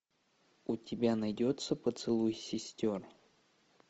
у тебя найдется поцелуй сестер